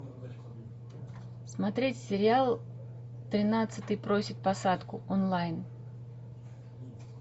смотреть сериал тринадцатый просит посадку онлайн